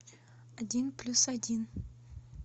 один плюс один